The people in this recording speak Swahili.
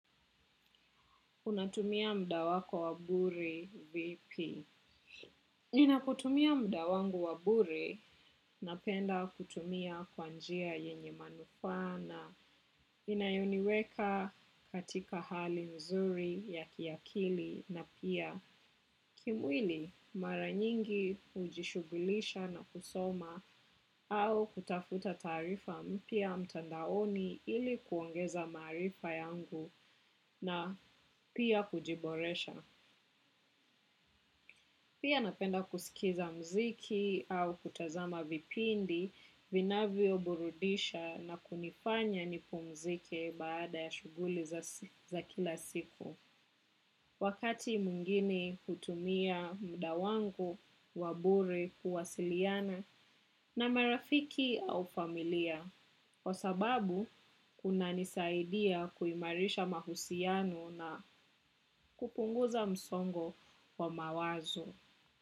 Unatumia mda wako wabure vipi. Ninapokutumia muda wangu wa bure napenda kutumia kwa njia yenye manufaa. Inayoniweka katika hali nzuri ya kiakili na pia. Kimwili, mara nyingi hujishugulisha na kusoma au kutafuta taarifa mpya mtandaoni ili kuongeza maarifa yangu na pia kujiboresha. Pia napenda kusikiza muziki au kutazama vipindi, vinavyo burudisha na kunifanya nipumzike baada ya shughuli za kila siku. Wakati mwingine kutumia muda wangu, wa bure, kuwasiliana na marafiki au familia. Kwa sababu, kunanisaidia kuimarisha mahusiano na kupunguza msongo wa mawazo.